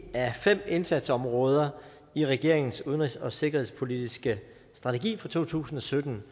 af fem indsatsområder i regeringens udenrigs og sikkerhedspolitiske strategi for to tusind og sytten